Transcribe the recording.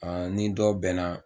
A ni dɔ bɛn na